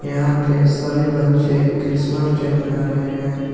यहां पे सभी बच्चे क्रिसमस डे मना रहे है।